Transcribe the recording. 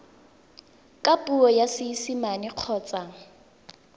ka puo ya seesimane kgotsa